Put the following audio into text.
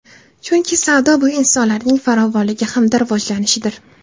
Chunki savdo bu insonlarning farovonligi hamda rivojlanishidir.